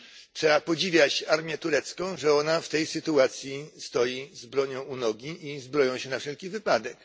Trzeba podziwiać armię turecką, że ona w tej sytuacji stoi z bronią u nogi i zbroi się na wszelki wypadek.